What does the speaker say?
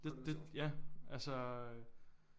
Det det ja altså